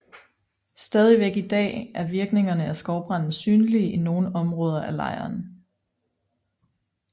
Stadigvæk i dag er virkningerne af skovbranden synlige i nogle områder af lejren